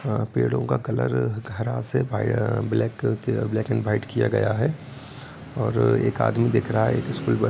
अ पेड़ों का कलर घरा से अ-बा-इ-आ ब्लैक कलर अ ब्लैक एंड वाइट किया गया है और एक आदमी दिख रहा है एक स्कूल --